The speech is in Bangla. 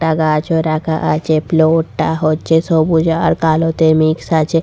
একটা গাছও রাখা আছে ফ্লোর -টা হচ্ছে সবুজ আর কালোতে মিক্স আছে।